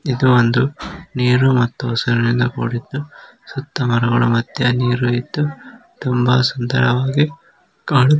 ಇದ ಒಂದು ನೀರು ಹಾಗಿದ್ದೂ ತುಂಬಾ ಸುಂದರವಾಗಿ ಕಾಣುತಿದೆ.